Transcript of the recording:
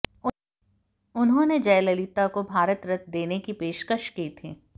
उन्होंने जयललिता को भारत रत्न देने की पेशकश की थी